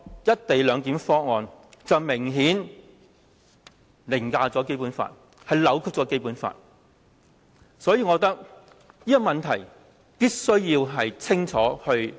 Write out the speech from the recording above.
"一地兩檢"明顯是凌駕和扭曲《基本法》。所以，我認為這個問題必須釐清。